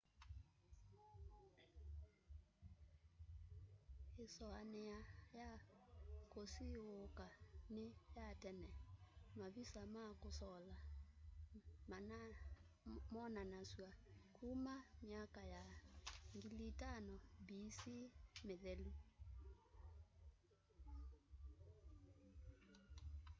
isuania ya kusiiuka ni ya tene-mavisa ma kusola monanasw'a kuma myaka ya 5000 bc mithelu